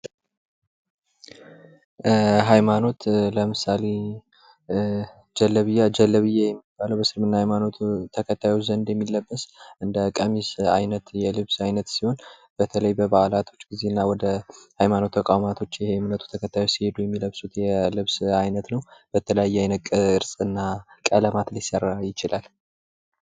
ሃይማኖት ለምሳሌ ጀለቢያ የእስልምና ሃይማኖት ተከታዮች የሚለበት እንደ ቀሚስ አይነት ልብስ ሲሆን በተለይ በበዓላት ጊዜና ወደ ሃይማኖት ተቋማት ሲመጡ የሚለብሱን የልብስ አይነት ነው በተለያዩ ቀለማትና ቅርጽ ሊሰራ ይችላል።